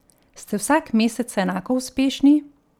Ste vsak mesec enako uspešni?